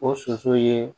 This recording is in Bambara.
O soso ye